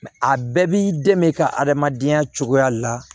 a bɛɛ b'i den ka adamadenya cogoya la